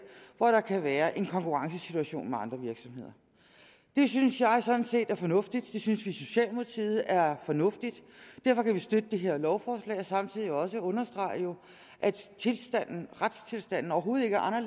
hvor der kan være en konkurrencesituation med andre virksomheder det synes jeg sådan set er fornuftigt det synes vi i socialdemokratiet er fornuftigt og derfor kan vi støtte det her lovforslag og samtidig også understrege at retstilstanden overhovedet ikke har